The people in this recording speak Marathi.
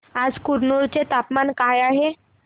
आज कुरनूल चे तापमान काय आहे